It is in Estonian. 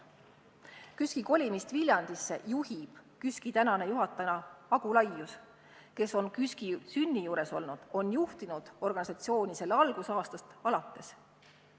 KÜSK-i kolimist Viljandisse juhib KÜSK-i tänane juhataja Agu Laius, kes on KÜSK-i sünni juures olnud ja juhtinud organisatsiooni selle algusaastast alates.